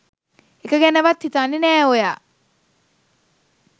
එක ගැනවත් හිතන්නෙ නෑ ඔයා.